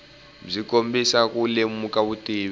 byi kombisa ku lemuka vutivi